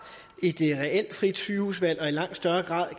et reelt frit sygehusvalg og i langt større grad